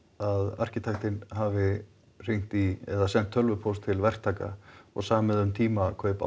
arkitektinn hafi hringt í eða sent tölvupóst til verktaka og samið um tímakaup á